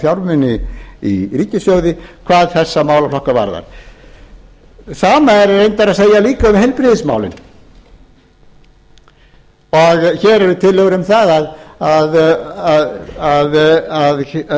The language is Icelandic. fjármuni í ríkissjóði hvað þessa málaflokka varðar sama er reyndar að segja líka um heilbrigðismálin hér eru tillögur um það að